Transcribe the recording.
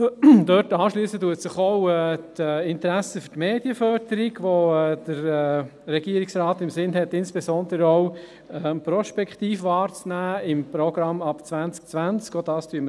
Daran schliessen auch die Interessen für die Medienförderung an, wo der Regierungsrat im Sinn hat, diese insbesondere, beim Programm ab 2020, prospektiv wahrzunehmen.